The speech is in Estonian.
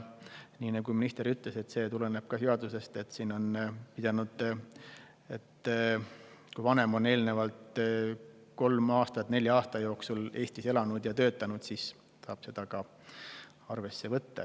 Nii nagu minister ütles, tuleneb see samuti seadusest, et kui vanem on eelnevalt kolm aastat nelja aasta jooksul Eestis elanud ja töötanud, siis saab seda arvesse võtta.